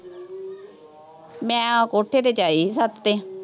ਮੈਂ ਆਹ ਕੋਠੇ ਤੇ ਆਈ ਸੀ, ਛੱਤ ਤੇ,